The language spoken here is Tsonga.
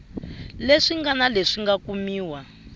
leswi ngana leswi nga kumiwa